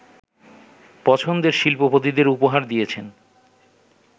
পছন্দের শিল্পপতিদের উপহার দিয়েছেন